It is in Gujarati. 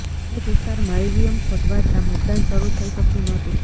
અનેક વિસ્તારમાં ઈવીએમ ખોટવાતા મતદાન શરૂ થઈ શક્યુ ન હતું